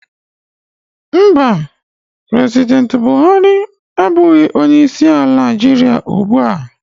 Mba, President Buhari abụghị onye isi ala Nigeria ugbu a